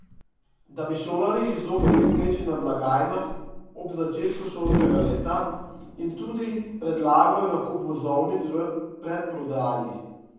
Da bi šolarji izognili gneči na blagajnah ob začetku šolskega leta, jim tudi predlagajo nakup vozovnic v predprodaji.